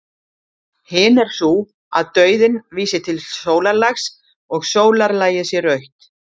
hin er sú að dauðinn vísi til sólarlags og sólarlagið sé rautt